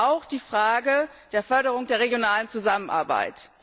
Auch die Frage der Förderung der regionalen Zusammenarbeit.